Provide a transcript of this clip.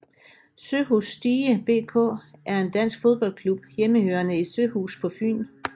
Søhus Stige BK er en dansk fodboldklub hjemmehørende i Søhus på Fyn